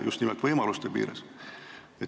Just nimelt võimaluste piires.